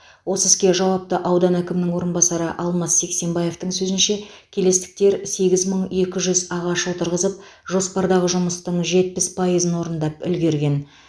осы іске жауапты аудан әкімінің орынбасары алмас сексенбаевтың сөзінше келестіктер сегіз мың екі жүз ағаш отырғызып жоспардағы жұмыстың жетпіс пайызын орындап үлгерген